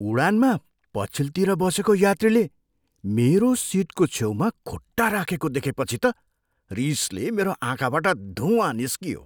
उडानमा पछिल्तिर बसेको यात्रीले मेरो सिटको छेउमा खुट्टा राखेको देखेपछि त रिसले मेरो आँखाबाट धुँवा निस्कियो।